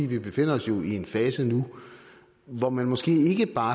vi jo befinder os i en fase nu hvor man måske ikke bare